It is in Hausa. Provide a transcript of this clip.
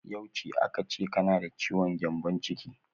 Yauce aka ce kana da ciwon gyambon ciki?